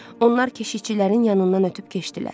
Onlar keşiqçilərin yanından ötüb keçdilər.